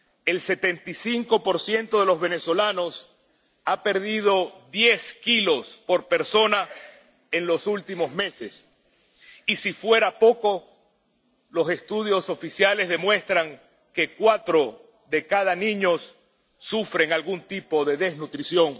El 75 de los venezolanos ha perdido diez kilos, por persona, en los últimos meses y, por si fuera poco, los estudios oficiales demuestran que cuatro de cada diez niños sufren algún tipo de desnutrición.